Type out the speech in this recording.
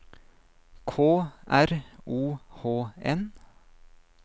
K R O H N